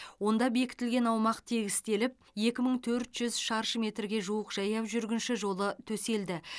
онда бекітілген аумақ тегістеліп екі мың төрт жүз шаршы метрге жуық жаяу жүргінші жолы төселді